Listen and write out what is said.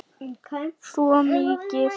Svo mikið.